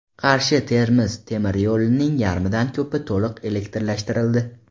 Qarshi Termiz temir yo‘lining yarmidan ko‘pi to‘liq elektrlashtirildi.